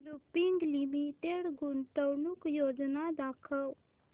Lupin Limited गुंतवणूक योजना दाखव